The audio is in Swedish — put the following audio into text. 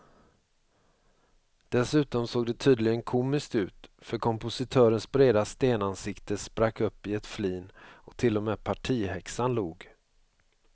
Dessutom såg det tydligen komiskt ut för kompositörens breda stenansikte sprack upp i ett flin och till och med partihäxan log.